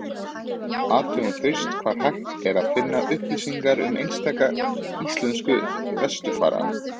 Athugum fyrst hvar hægt er að finna upplýsingar um einstaka íslenska vesturfara.